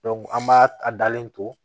an b'a a dalen to